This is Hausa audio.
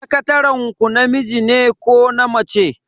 Sakataren ku namiji ne ko na mace?